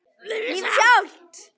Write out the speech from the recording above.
Lífið sjálft.